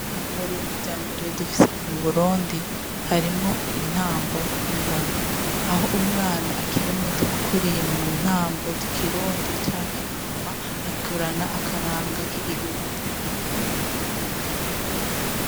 mu bintu vyambere dufise mu burundi harimwo intambo n'ingoma aho umwana akiri muto akuriye muntambo z'ikirundi canke ingoma akurana akaranga k'igihugu